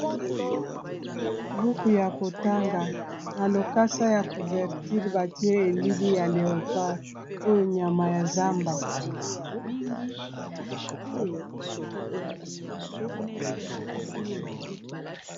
Buku ya kotanga na lokasa ya couverture batie elili ya léopard oyo nyama ya zamba.